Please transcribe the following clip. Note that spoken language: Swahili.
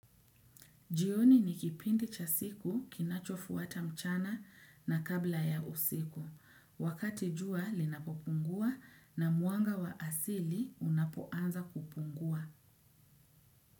Jioni ni kipindi cha siku kinachofuata mchana na kabla ya usiku. Wakati jua linapopungua na mwanga wa asili unapoanza kupungua.